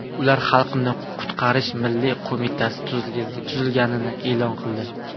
Ular Xalqni qutqarish milliy qo‘mitasi tuzilganini e’lon qildi.